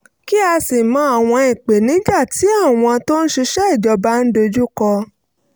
kí á sì mọ àwọn ìpèníjà tí àwọn òṣìṣẹ́ ìjọba ń dojú kọ